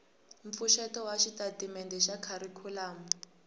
mpfuxeto wa xitatimende xa kharikhulamu